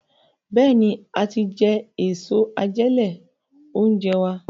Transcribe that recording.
Béèni a tí jé Èso àjẹlé-oúnjẹ wá.